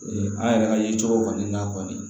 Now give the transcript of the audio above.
Ee an yɛrɛ ka ye cogo kɔni na kɔni